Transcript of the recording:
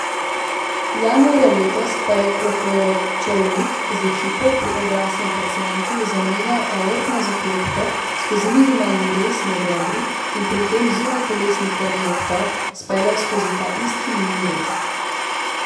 Januarja letos pa je Klokočovnik z ekipo pri odraslem pacientu zamenjal aortno zaklopko skozi minimalni rez med rebri in pri tem zunajtelesni krvni obtok speljal skozi ta isti mini rez.